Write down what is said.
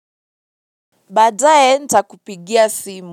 Baadaye nitakupigia simu.